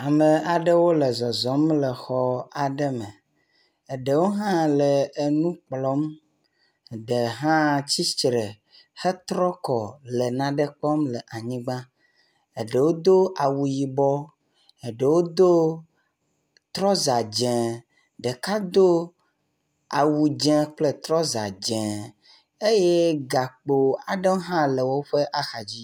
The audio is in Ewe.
Ame aɖewo le zɔzɔm le xɔ aɖe me, eɖewo hã le enukplɔm ɖe hã tsitsre hetrɔkɔ le naɖe kpɔm le anyigba eɖewo do awu yibɔ eɖewo do trɔza dzɛ̃ ɖeka dó awu dzē kple trɔza dzē eye gakpo aɖe hã le wóƒe axadzi